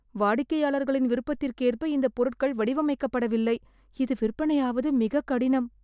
வாடிக்கையாளர்களின் விருப்பதிக்கேற்ப இந்த பொருட்கள் வடிவமைக்கப்படவில்லை. இது விற்பனையாவது மிக கடினம்.